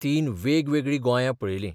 तीन वेगवेगळीं गोंयां पळयलीं.